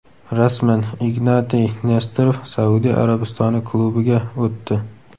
Rasman: Ignatiy Nesterov Saudiya Arabistoni klubiga o‘tdi.